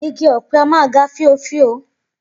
Igi òpe a máa ga fíofío